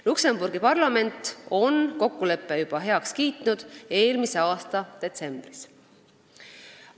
Luksemburgi parlament on kokkuleppe juba heaks kiitnud, ta tegi seda eelmise aasta detsembris.